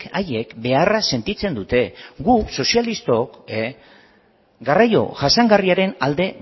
haiek beharra sentitzen dute guk sozialistok garraio jasangarriaren alde